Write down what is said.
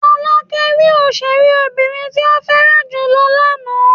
Fọlákẹ́ rí òṣèré obìnrin tí ó fẹ́ràn jù lọ lánàá.